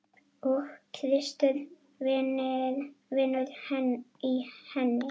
Og Kristur vinnur í henni.